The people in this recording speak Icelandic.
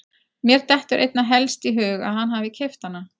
Mér dettur einna helst í hug að hann hafi keypt hana.